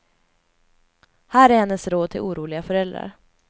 Här är hennes råd till oroliga föräldrar.